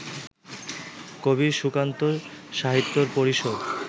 কবি সুকান্ত সাহিত্য পরিষদ